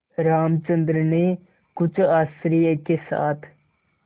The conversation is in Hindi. रामचंद्र ने कुछ आश्चर्य के साथ